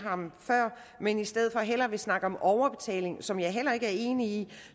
ham før men i stedet for hellere vil snakke om overbetaling som jeg heller ikke er enig